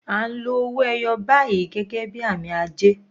À ń lo owó ẹyọ báyìí gẹ́gẹ́ bí àmì ajé.